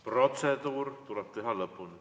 Protseduur tuleb lõpuni teha.